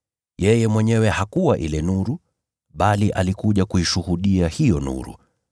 Yeye mwenyewe hakuwa ile nuru, bali alikuja kuishuhudia hiyo nuru.